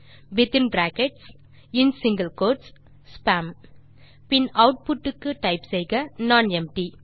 within brackets மற்றும் single quotes spam பின் outputக்கு டைப் செய்க நானெம்ப்டி